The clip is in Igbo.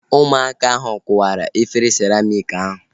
Ụmụaka ahu kụwara efere siramịk ahu